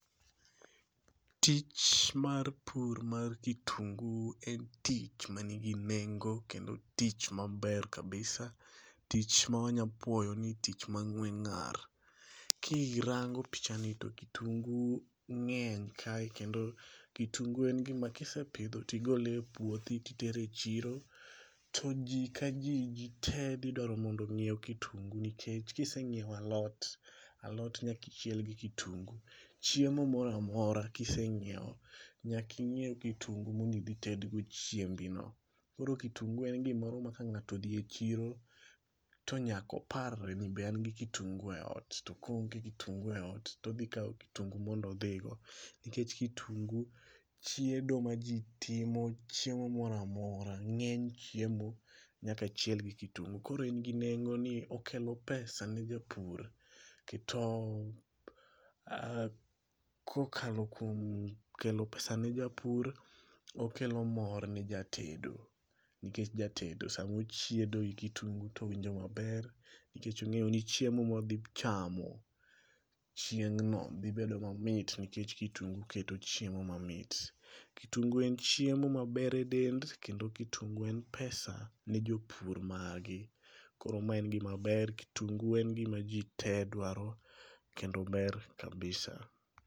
Tich mar pur mar kitungu en tich manigi nengo kendo tich maber kabisa tich mawanya puoyo ni tich ma ng'we ng'ar. Kirango pichani to kitungu ng'eny ka kendo kitungu en gima kisepidho tigole e puothi titere e chiro, to jii ka jii, jit ee dhi dwaro mondo ngiew kitungu nikech kisenyiew alot, alot nyaka ichiel gi kitungu. Chiemo moro amora kisenyiew, nyaka inyiew kitungu mondo idhi ited go chiembi no.Koro kitungu en gimoro ma ka ngato odhi e chiro o nyaka opar ni be an gi kitungu e ot to ka ooong e kitungu e ot todhi kao kitungu mondo odhi go nikech kitungu chiedo ma jii timo, chiemo moro amora ng'eny chiemo nyaka chiel gi kitungu .Koro en gi nengo ni okelo pesa ne japur, oketo, kokalo kuom kelo pesa ne japur, okelo mor ne jatedo nikech jatedo sama ochiedo gi kitungu to owinjo maber nikech ongeyo ni chiemo modhi chamo chieng'no dhi bedo mamit nikech kitungu keto chiemo mamit. Kitungu en chiemo maber e del kendo kitungu en pesa ne jopur mage. Koro ma en gima ber, kitungu en gima jii tee dwaro kendo ober kabisa